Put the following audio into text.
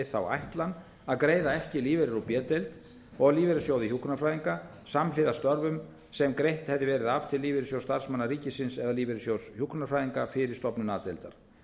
þá ætlan að greiða ekki lífeyri úr b deild og lífeyrissjóði hjúkrunarfræðinga samhliða störfum sem greitt hefði verið af til lífeyrissjóðs starfsmanna ríkisins eða lífeyrissjóðs hjúkrunarfræðinga fyrir stofnun a deildar